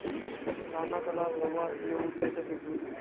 नाना 'चला हवा येऊ द्या'च्या सेटवर